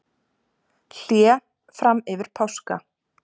Hlé fram yfir páska